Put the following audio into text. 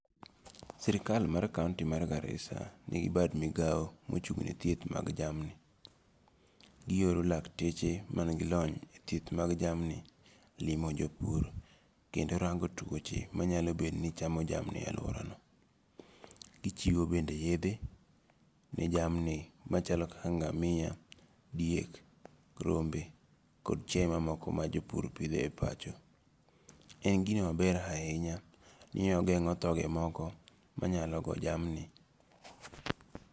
Sirikal mar county mar Garissa, nigi bad migao mochung'ne thieth mag jamni, gioro lakteche manigilony e thieth mag jamni limo jo pur kendo kango tuoche manyalo bed ni chamo jamni e aluorano, gichiu bende yethe ni jamni machalo kaka ngamia, diek, rombe, kod chiaye mamoko majopur pitho e pacho, en gino maber ahinya ni ogengo' thoge moko manyalo go jamni.